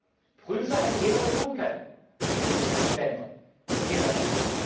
es prüfe ein jeder, was er tun kann, in diesen Ländern und generell.